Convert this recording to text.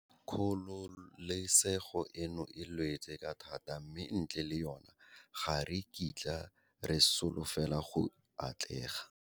Kgololesego eno e lwetswe ka thata mme ntle le yona, ga re kitla re solofela go atlega.